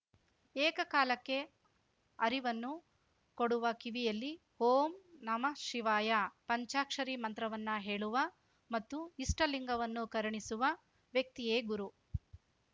ಏಕ ಕಾಲಕ್ಕೆ ಅರಿವನ್ನು ಕೊಡುವ ಕಿವಿಯಲ್ಲಿ ಓಂ ನಮಃ ಶಿವಾಯ ಪಂಚಾಕ್ಷರಿ ಮಂತ್ರವನ್ನು ಹೇಳುವ ಮತ್ತು ಇಷ್ಟಲಿಂಗವನ್ನು ಕರುಣಿಸುವ ವ್ಯಕ್ತಿಯೇ ಗುರು